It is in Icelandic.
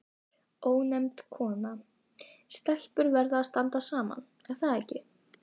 Ónefnd kona: Stelpur verða að standa saman, er það ekki?